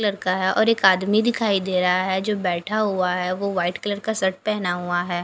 लड़का है और एक आदमी दिखाई दे रहा है जो बेठा हुआ है वो वाइट कलर का शर्ट पहना हुआ है।